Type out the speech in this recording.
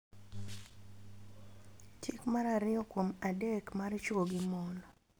Chik mar ariyo kuom adek mar chwo gi mon,